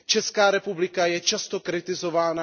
Česká republika je často kritizována.